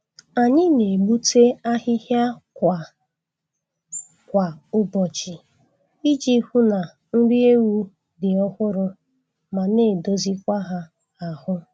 Anyị na-egbute ahịhịa kwa kwa ụbọchị iji hụ na nri ewu dị ọhụrụ ma na-edozikwa ha ahụ